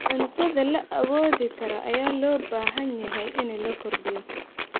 Cuntada la awoodi karo ayaa loo baahan yahay in la kordhiyo.